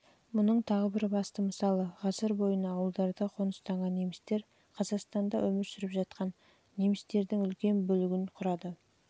мұның тағы бір басты мысалы ғасыр бойына ауылдарда қоныстанған немістер қазақстанда өмір сүріп жатқан немістердің үлкен